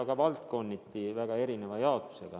Ka valdkonniti jaotuvad nad väga erinevalt.